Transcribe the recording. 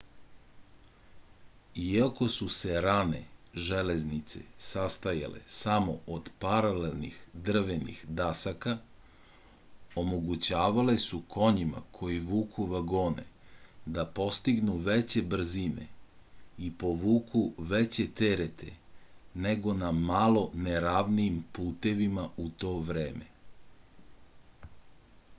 iako su se rane železnice sastojale samo od paralelnih drvenih dasaka omogućavale su konjima koji vuku vagone da postignu veće brzine i povuku veće terete nego na malo neravnijim putevima u to vreme